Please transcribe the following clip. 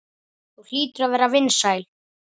Þú hlýtur að vera vinsæl.